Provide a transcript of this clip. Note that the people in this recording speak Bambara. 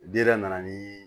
Di yɛrɛ nana ni